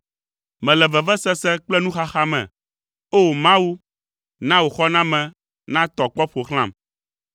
Mele vevesese kple nuxaxa me; O! Mawu, na wò xɔname natɔ kpɔ ƒo xlãm.